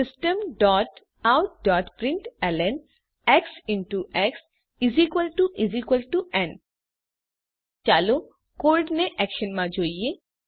Systemoutprintlnએક્સ x ન ચાલો code ને એક્શનમાં જોઈએ